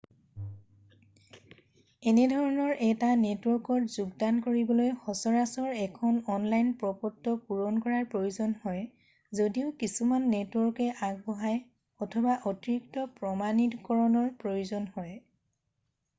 এনেধৰণৰ এটা নেটৱৰ্কত যোগদান কৰিবলৈ সচৰাচৰ এখন অনলাইন প্ৰপত্ৰ পুৰণ কৰাৰ প্ৰয়োজন হয় যদিও কিছুমান নেটৱৰ্কে আগবঢ়ায় অথবা অতিৰিক্ত প্ৰমাণিকৰণৰ প্ৰয়োজন হয়